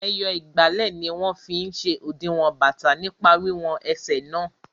Ẹyọ ìgbálẹ̀ ni wọ́n fí n ṣe òdiwọ̀n bàtà nípa wiwọn ẹsẹ̀ náà